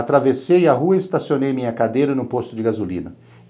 Atravessei a rua e estacionei minha cadeira no posto de gasolina.